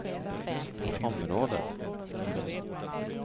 området